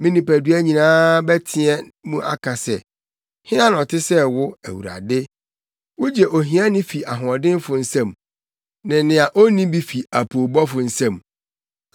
Me nipadua nyinaa bɛteɛ mu aka se, “Hena na ɔte sɛ wo, Awurade? Wugye ohiani fi ahoɔdenfo nsam, ne nea onni bi fi apoobɔfo nsam.”